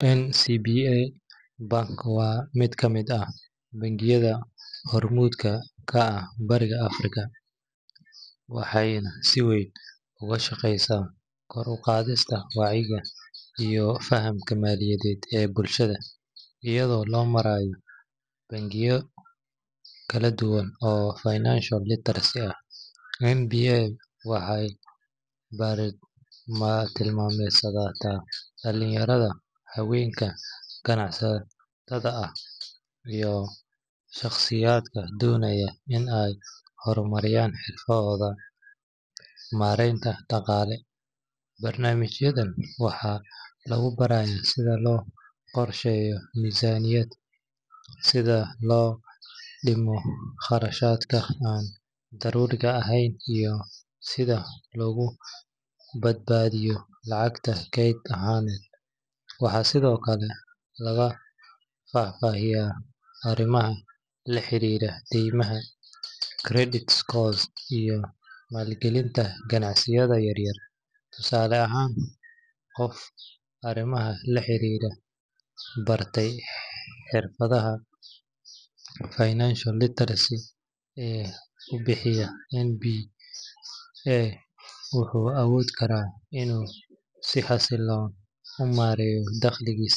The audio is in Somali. NCBA Bank waa mid ka mid ah bangiyada hormuudka ka ah Bariga Afrika, waxayna si weyn uga shaqeysaa kor u qaadista wacyiga iyo fahamka maaliyadeed ee bulshada. Iyadoo loo marayo barnaamijyo kala duwan oo financial literacy ah, NCBA waxay bartilmaameedsataa dhalinyarada, haweenka ganacsatada ah, iyo shaqsiyaadka doonaya in ay horumariyaan xirfadahooda maareynta dhaqaale. Barnaamijyadan waxaa lagu barayaa sida loo qorsheeyo miisaaniyadda, sida loo dhimo kharashaadka aan daruuriga ahayn, iyo sida loogu badbaadiyo lacagta kayd ahaan. Waxaa sidoo kale lagu faahfaahiyaa arrimaha la xiriira daymaha, credit scores, iyo maalgelinta ganacsiyada yaryar. Tusaale ahaan, qof bartay xirfadaha financial literacy ee uu bixiyo NCBA wuxuu awoodi karaa inuu si xasilloon u maareeyo dakhligiisa.